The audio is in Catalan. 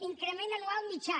increment anual mitjà